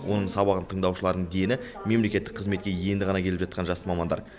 оның сабағын тыңдаушылардың дені мемлекеттік қызметке енді ғана келіп жатқан жас мамандар